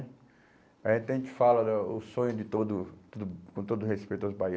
A gente a gente fala do o sonho de todo todo, com todo o respeito aos